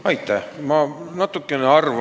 Aitäh!